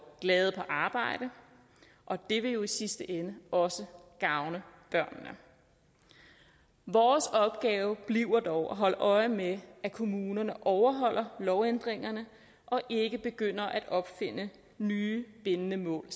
glade på arbejde og det vil jo i sidste ende også gavne børnene vores opgave bliver dog at holde øje med at kommunerne overholder lovændringerne og ikke selv begynder at opfinde nye bindende mål